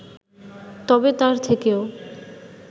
তবে তার থেকেও